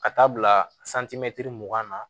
Ka taa bila mugan na